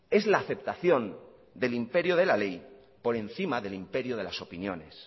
es la aceptación del imperio de ley por encima del imperio de las opiniones